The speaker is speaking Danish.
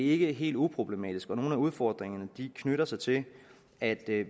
ikke helt uproblematisk og nogle af udfordringerne knytter sig til at